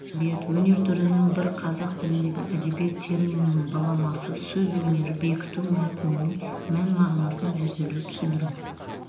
әдебиет өнер түрінің бірі қазақ тіліндегі әдебиет терминінің баламасы сөз өнері бекіту мәтіннің мән-мағынасын зерделеу түсіндіру